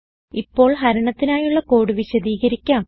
ഇപ്പോൾ ഹരണത്തിനായുള്ള കോഡ് വിശദീകരിക്കാം